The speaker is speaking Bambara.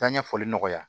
Taa ɲɛfɔli nɔgɔya